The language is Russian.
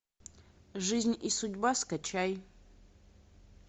жизнь и судьба скачай